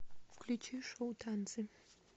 включи шоу танцы